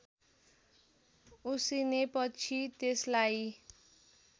उसिनेपछि त्यसलाई